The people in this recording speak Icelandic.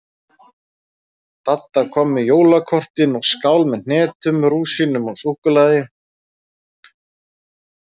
Dadda kom með jólakortin og skál með hnetum, rúsínum og súkkulaði.